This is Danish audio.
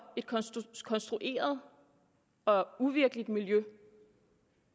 et konstrueret og uvirkeligt miljø